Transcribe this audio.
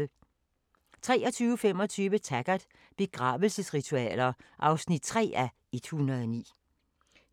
23:25: Taggart: Begravelsesritualer (3:109)